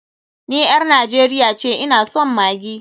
Ni ƴar Najeriya ce, ina son maggi.